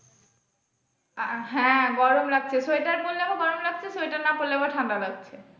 আহ হ্যাঁ গরম লাগছে sweater পড়লে আবার গরম লাগছে sweater না পড়লে আবার ঠান্ডা লাগছে।